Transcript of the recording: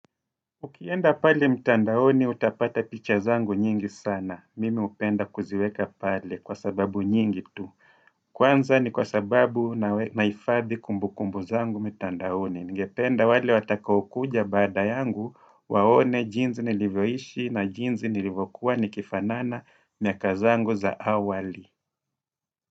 Ukienda pale mtandaoni utapata picha zangu nyingi sana. Mimi upenda kuziweka pale kwa sababu nyingi tu. Kwanza ni kwa sababu nahifadhi kumbukumbu zangu mtandaoni. Ningependa wale watakaokuja baada yangu waone jinzi nilivyoishi na jinzi nilivokuwa nikifanana miaka zangu za awali.